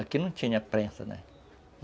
Aqui não tinha prensa, né?